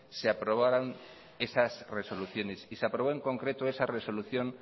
se aprobaron esas resoluciones y se aprobó en concreto esa resolución